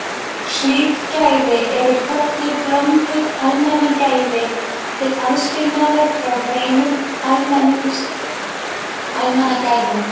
Slík gæði eru kölluð blönduð almannagæði til aðskilnaðar frá hreinum almannagæðum.